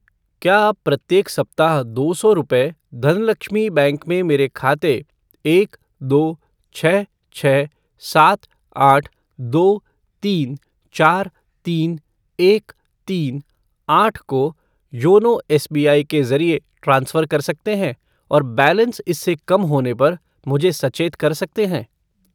क्या आप प्रत्येक सप्ताह दो सौ रुपये धनलक्ष्मी बैंक में मेरे खाते एक दो छः छः सात आठ दो तीन चार तीन एक तीन आठ को योनो एसबीआई के ज़रिए ट्रांसफ़र कर सकते हैं और बैलेंस इससे कम होने पर मुझे सचेत कर सकते हैं?